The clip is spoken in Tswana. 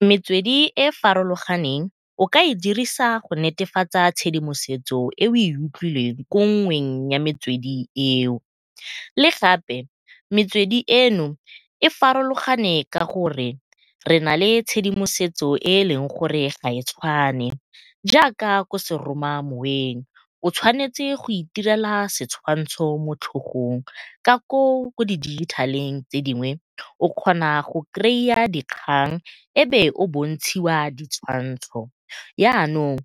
Metswedi e farologaneng o ka e dirisa go netefatsa tshedimosetso e o e utlwileng ko nngweng ya metswedi eo. Le gape metswedi eno e farologane ka gore re nale tshedimosetso e e leng gore ga e tshwane jaaka ko seromamoweng, o tshwanetse go itirela setshwantsho mo tlhogong ka koo ko di dijithaleng tse dingwe o kgona go dikgang e be o bontshiwa ditshwantsho. Yanong